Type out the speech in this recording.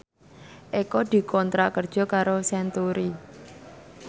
Eko dikontrak kerja karo Century